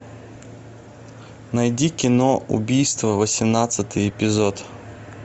найди кино убийство восемнадцатый эпизод